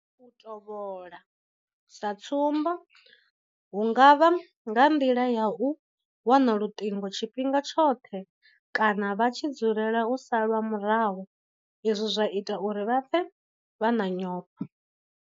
U tovhola, sa tsumbo hu nga vha nga nḓila ya u wana luṱingo tshifhinga tshoṱhe kana vha tshi dzulela u salwa murahu izwi zwa ita uri vha pfe vha na nyofho.